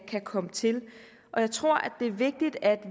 kan komme til jeg tror at det er vigtigt at